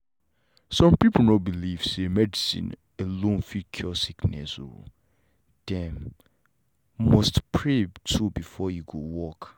some people no believe say medicine alone fit cure sickness o them.must pray too before e go work